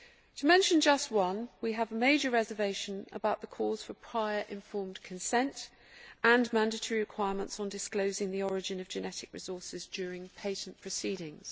To mention just one, we have major reservations about the calls for prior informed consent and mandatory requirements on disclosing the origin of genetic resources during patent proceedings.